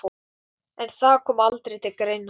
En það kom aldrei til greina.